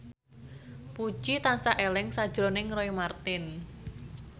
Puji tansah eling sakjroning Roy Marten